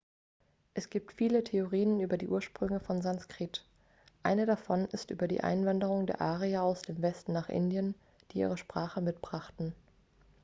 es gibt viele theorien über die ursprünge von sanskrit eine davon ist über die einwanderung der arier aus dem westen nach indien die ihre sprache mitbrachten